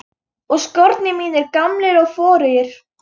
Og skórnir mínir gamlir og forugir.